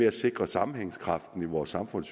at sikre sammenhængskraften i vores samfund